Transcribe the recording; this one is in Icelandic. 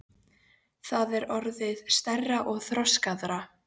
Það er orðið stærra og þroskaðra.